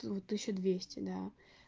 тут тысяча двести да